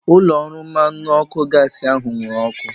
Ụlọ ọrụ mmanụ ọkụ gaasi ahu nwụrụ ọkụ